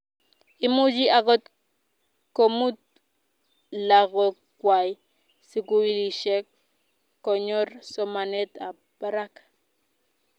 Imuchi akot komut lakokwai sikulishek konyor somanet ab brak